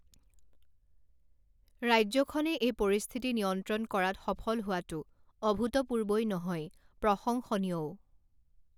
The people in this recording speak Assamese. ৰাজ্যখনে এই পৰিস্থিতি নিয়ন্ত্ৰণ কৰাত সফল হোৱাটো অভূতপূৰ্বই নহয় প্ৰশংসনীয়ও।